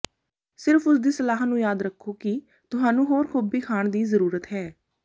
ਸਿਰਫ ਉਸਦੀ ਸਲਾਹ ਨੂੰ ਯਾਦ ਰੱਖੋ ਕਿ ਤੁਹਾਨੂੰ ਹੋਰ ਗੋਭੀ ਖਾਣ ਦੀ ਜ਼ਰੂਰਤ ਹੈ